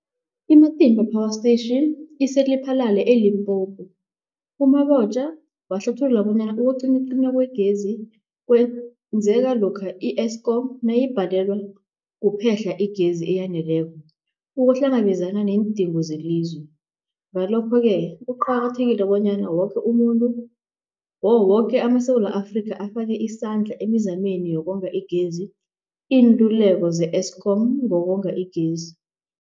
I-Matimba Power Station ise-Lephalale, eLimpopo. U-Mabotja wahlathulula bonyana ukucinywacinywa kwegezi kwenzeka lokha i-Eskom nayibhalelwa kuphe-hla igezi eyaneleko ukuhlangabezana neendingo zelizwe. Ngalokho-ke kuqakathekile bonyana woke amaSewula Afrika afake isandla emizameni yokonga igezi. Iinluleko ze-Eskom ngokonga igezi.